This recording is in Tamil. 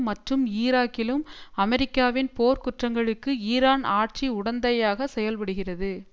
மற்றும் ஈராக்கிலும் அமெரிக்காவின் போர் குற்றங்களுக்கு ஈரான் ஆட்சி உடந்தையாக செயல்படுகிறது